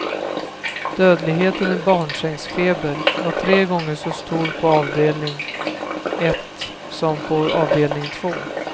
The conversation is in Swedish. Dödligheten i barnsängsfeber var tre gånger så stor på avdelning ett som på avdelning två.